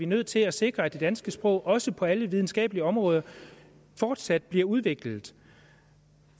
nødt til at sikre at det danske sprog også på alle videnskabelige områder fortsat bliver udviklet